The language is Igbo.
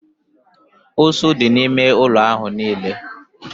Ụsụ dị n'ime ụlọ ahụ niile